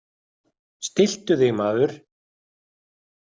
Stilltu þig, maður!